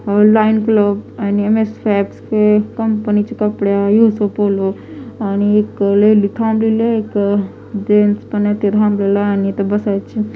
online clove आणि MS facts चे कंपनीचे कपडे आणि येऊसो पोलो आणि एक लेडी थांबलेली आहे एक जेन्स पण आहे ते थांबलेला आणि इथं बसायची --